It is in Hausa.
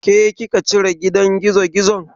Ke kika cire gidan gizogizon?